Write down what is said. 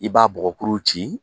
I b'a bɔgɔkuru ci